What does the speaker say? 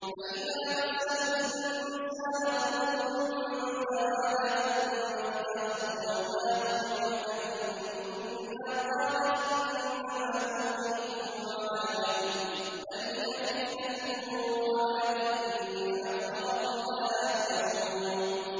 فَإِذَا مَسَّ الْإِنسَانَ ضُرٌّ دَعَانَا ثُمَّ إِذَا خَوَّلْنَاهُ نِعْمَةً مِّنَّا قَالَ إِنَّمَا أُوتِيتُهُ عَلَىٰ عِلْمٍ ۚ بَلْ هِيَ فِتْنَةٌ وَلَٰكِنَّ أَكْثَرَهُمْ لَا يَعْلَمُونَ